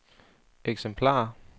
eksemplarer